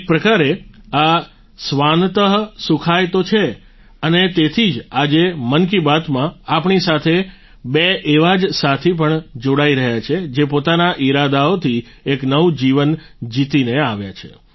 એક પ્રકારે આ સ્વાન્તઃ સુખાય તો છે અને તેથી આજે મન કી બાત માં આપણી સાથે બે એવા જ સાથી પણ જોડાઈ રહ્યા છે જે પોતાના ઈરાદાઓથી એક નવું જીવન જીતીને આવ્યા છે